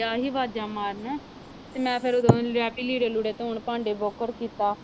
ਡਿਆ ਸੀ ਆਵਾਜ਼ਾਂ ਮਾਰਨ ਤੇ ਮੈਂ ਫਿਰ ਉਦੋਂ ਲੱਗ ਗਈ ਲੀੜੇ ਲੂੜੇ ਧੌਣ ਭਾਂਡੇ ਬੋਕਰ ਕੀਤਾ